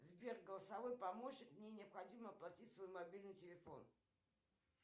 сбер голосовой помощник мне необходимо оплатить свой мобильный телефон